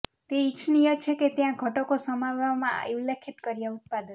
તે ઇચ્છનીય છે કે ત્યાં ઘટકો સમાવવામાં ઉલ્લેખિત કર્યા ઉત્પાદન